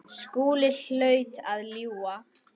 Skúli hlaut að ljúga.